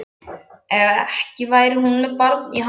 Ekki væri hún með barn í handleggjunum.